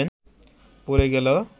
পড়ে গেল